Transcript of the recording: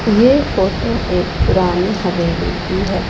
ये फोटो एक पुरानी हवेली की है।